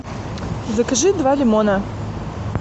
закажи два лимона